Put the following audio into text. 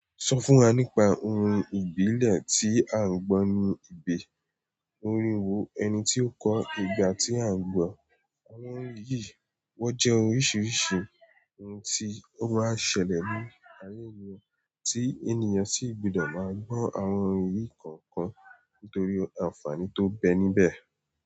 Sọ fún wa nípa orin ìbílẹ̀ tí a n gbọ́ ní ìgbé. Orin wo o, ẹni tí o kọ ọ, ìgbà ti a n gbọ àwọn orin yìí wọn jẹ orin oríṣiríṣi ohun ti o máa n ṣẹlẹ̀ ní ayé mìíràn, ti àwọn ènìyàn si gbọdọ máa gbọ àwọn orin yìí kọ̀ọ̀kan, nítorí àǹfààní to n bẹ́ẹ̀ níbẹ̀.